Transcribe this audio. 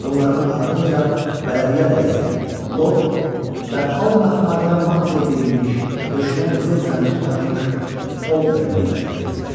Bunların ardınca bələdiyyə rəisi Lord və al məxmərdən mantya geyinmiş, döşünə qızıl zəncir taxmış oldermenlər gəlirdilər.